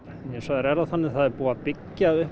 hins vegar er það þannig að það er búið að byggja upp